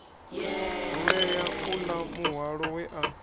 rulea uḽa muhwalo we a